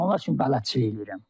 Mən onlar üçün bələdçilik eləyirəm.